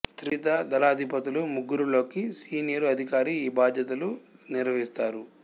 త్రివిధ దళాధిపతులు ముగ్గురిలోకీ సీనియరు అధికారి ఈ బాధ్యతలు నిర్వహిస్తారు